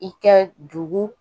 I kɛ dugu